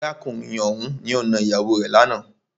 Arákùnrin ọ̀hùn ni o nà ìyàwó rè lánàá.